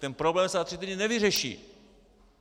Ten problém se za tři týdny nevyřeší.